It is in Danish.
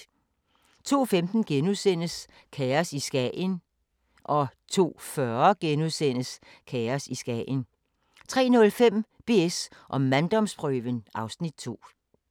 02:15: Kaos i Skagen * 02:40: Kaos i Skagen * 03:05: BS & manddomsprøven (Afs. 2)